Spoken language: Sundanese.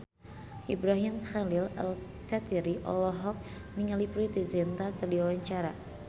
Ibrahim Khalil Alkatiri olohok ningali Preity Zinta keur diwawancara